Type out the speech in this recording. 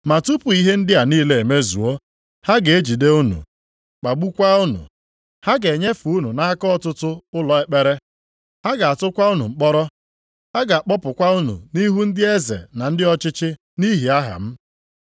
“Ma tupu ihe ndị a niile emezuo, ha ga-ejide unu, kpagbukwaa unu. Ha ga-enyefe unu nʼaka ọtụtụ ụlọ ekpere. Ha ga-atụkwa unu mkpọrọ. Ha ga-akpọpụkwa unu nʼihu ndị eze na ndị ọchịchị nʼihi aha m.